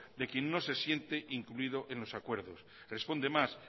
de quien no se siente incluido en los acuerdos responde más